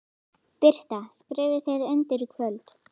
Birta: Skrifið þið undir í kvöld?